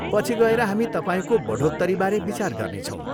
पछि गएर हामी तपाईँको बढोत्तरीबारे विचार गर्नेछौँ।